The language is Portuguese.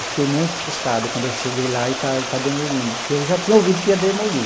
Eu fiquei muito frustrado quando eu cheguei lá e está está demolindo, porque eu já tinha ouvido que ia demolir.